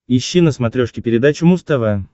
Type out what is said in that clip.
ищи на смотрешке передачу муз тв